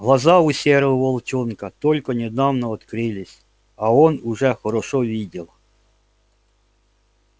глаза у серого волчонка только недавно открылись а он уже хорошо видел